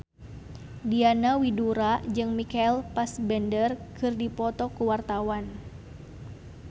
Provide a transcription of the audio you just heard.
Diana Widoera jeung Michael Fassbender keur dipoto ku wartawan